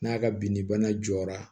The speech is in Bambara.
N'a ka binni bana jɔra